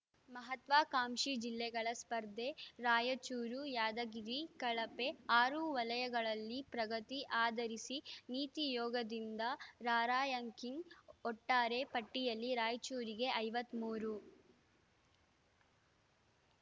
ಮಹತ್ವಾಕಾಂಕ್ಷಿ ಜಿಲ್ಲೆಗಳ ಸ್ಪರ್ಧೆ ರಾಯಚೂರು ಯಾದಗಿರಿ ಕಳಪೆ ಆರು ವಲಯಗಳಲ್ಲಿ ಪ್ರಗತಿ ಆಧರಿಸಿ ನೀತಿ ಯೋಗದಿಂದ ರಾರ‍ಯಂಕಿಂಗ್‌ ಒಟ್ಟಾರೆ ಪಟ್ಟಿಯಲ್ಲಿ ರಾಯಚೂರಿಗೆ ಐವತ್ತ್ ಮೂರು